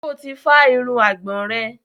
Ṣo ti fá irun àgbọ̀n rẹ̀?